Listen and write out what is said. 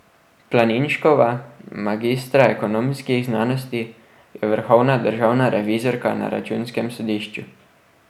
Planinškova, magistra ekonomskih znanosti, je vrhovna državna revizorka na Računskem sodišču.